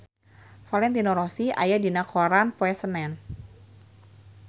Valentino Rossi aya dina koran poe Senen